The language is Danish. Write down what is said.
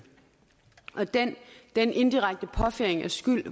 og den den indirekte påføring af skyld